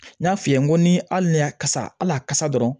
N y'a f'i ye n ko ni hali ni y'a kasa hali a kasa dɔrɔn